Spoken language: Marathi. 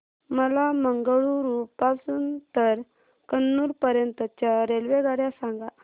मला मंगळुरू पासून तर कन्नूर पर्यंतच्या रेल्वेगाड्या सांगा